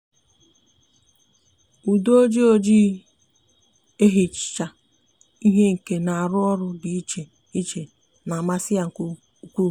ude oji oji ehicha ihe nke n'aru oru di iche iche n'amasi ya nke ukuu